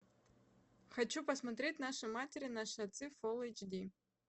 хочу посмотреть наши матери наши отцы фулл эйч ди